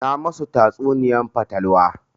Na ma su tatsuniyar fatalwa